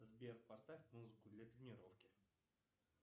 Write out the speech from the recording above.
сбер поставь музыку для тренировки